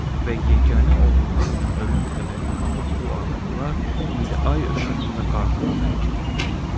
Və yeganə oğullarının ölüm xəbərini alan bu adamlar indi ay işığında qarğıdalı əkirdilər.